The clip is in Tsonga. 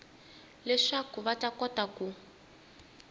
leswaku va ta kota ku